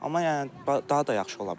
Amma yəni daha da yaxşı ola bilər.